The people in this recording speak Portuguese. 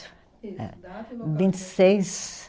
Vinte e seis